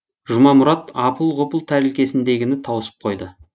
жұмамұрат апыл ғұпыл тәрелкесіндегіні тауысып қойды